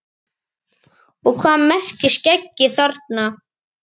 Og hvað merkir skeggi þarna?